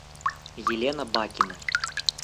елена бакина